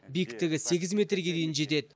биіктігі сегіз метрге дейін жетеді